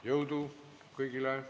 Jõudu kõigile!